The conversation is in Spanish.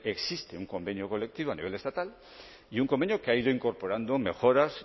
existe un convenio colectivo a nivel estatal y un convenio que ha ido incorporando mejoras